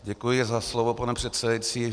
Děkuji za slovo, pane předsedající.